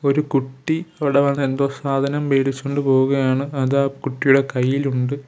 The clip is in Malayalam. ഒരു കുട്ടി അവിടെ വന്ന് എന്തോ സാധനം മേടിച്ച് കൊണ്ട് പോകുകയാണ് അത് ആ കുട്ടിയുടെ കൈയ്യിലുണ്ട്.